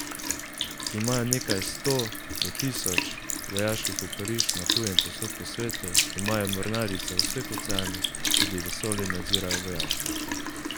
Imajo nekaj sto, do tisoč, vojaških oporišč na tujem povsod po svetu, imajo mornarice v vseh oceanih, tudi vesolje nadzirajo vojaško.